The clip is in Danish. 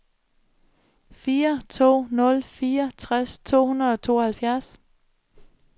fire to nul fire tres to hundrede og tooghalvtreds